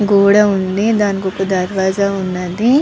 గోడ వుంది దానికి ఒక దరువాజ ఉన్నది.